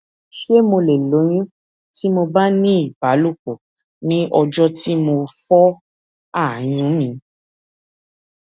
ṣé mo lè lóyún tí mo bá ní ìbálòpò ní ọjọ tí mo fọ àyún mi